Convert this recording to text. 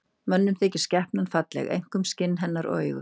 Mönnum þykir skepnan falleg, einkum skinn hennar og augu.